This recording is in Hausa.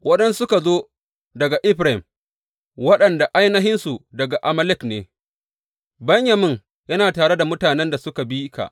Waɗansu suka zo daga Efraim, waɗanda ainihinsu daga Amalek ne; Benyamin yana tare da mutanen da suka bi ka.